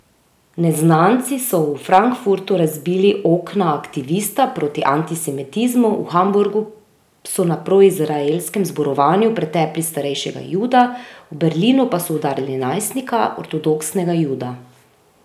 Neznanci so v Frankfurtu razbili okna aktivista proti antisemitizmu, v Hamburgu so na proizraelskem zborovanju pretepli starejšega Juda, v Berlinu pa so udarili najstnika, ortodoksnega Juda.